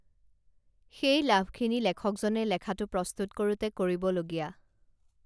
সেই লাভখিনি লেখকজনে লেখাটো প্ৰস্তুত কৰোঁতে কৰিবলগীয়া